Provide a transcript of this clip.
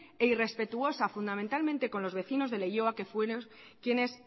e irrespetuosa fundamentalmente con los vecinos de leioa que fueron quienes